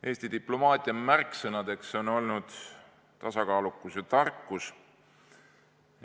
Eesti diplomaatia märksõnad on olnud tasakaalukus ja tarkus.